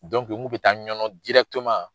N kun be taa ɲɔnɔn